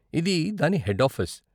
ఇది దాని head office.